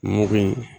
Mugu in